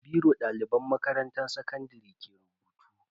Da biro daliban makarantan sakandare ke rubutu.